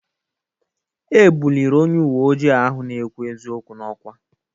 E buliri onye uwe ojii ahụ na-ekwu eziokwu n'ọkwa.